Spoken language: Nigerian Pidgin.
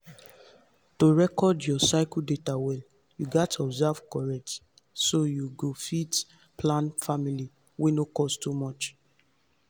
to record your cycle data well you gats observe corect so you fit plan family wey no cost too much